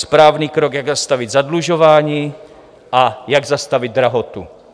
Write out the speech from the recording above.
Správný krok, jak zastavit zadlužování a jak zastavit drahotu.